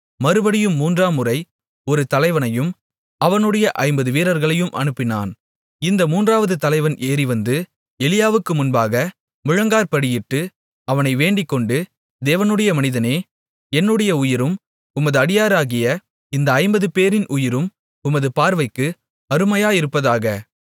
மறுபடியும் மூன்றாவது முறை ஒரு தலைவனையும் அவனுடைய ஐம்பது வீரர்களையும் அனுப்பினான் இந்த மூன்றாவது தலைவன் ஏறிவந்து எலியாவுக்கு முன்பாக முழங்காற்படியிட்டு அவனை வேண்டிக்கொண்டு தேவனுடைய மனிதனே என்னுடைய உயிரும் உமது அடியாராகிய இந்த ஐம்பதுபேரின் உயிரும் உமது பார்வைக்கு அருமையாயிருப்பதாக